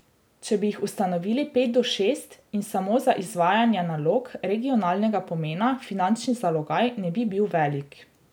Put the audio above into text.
Če bi jih ustanovili pet do šest in samo za izvajanja nalog regionalnega pomena, finančni zalogaj ne bi bil velik.